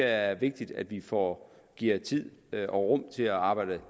er vigtigt at vi får givet tid og rum til at arbejde